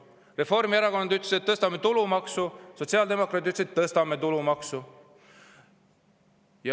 Reformierakond ütles, et tõstame tulumaksu, ja sotsiaaldemokraadid ütlesid, et tõstame tulumaksu.